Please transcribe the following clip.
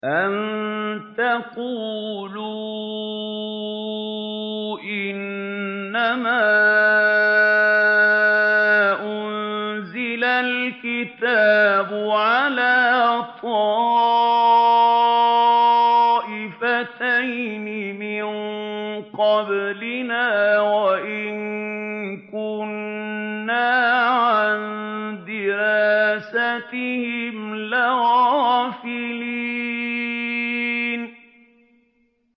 أَن تَقُولُوا إِنَّمَا أُنزِلَ الْكِتَابُ عَلَىٰ طَائِفَتَيْنِ مِن قَبْلِنَا وَإِن كُنَّا عَن دِرَاسَتِهِمْ لَغَافِلِينَ